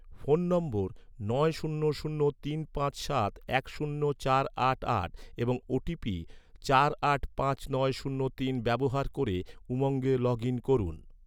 phone নম্বর নয় শূন্য শূন্য তিন পাঁচ সাত এক শূন্য চার আট আট এবং ওটিপি চার আট পাঁচ নয় শূন্য তিন ব্যবহার ক’রে, উমঙ্গে লগ ইন করুন